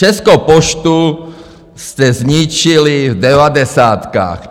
Českou poštu jste zničili v devadesátkách.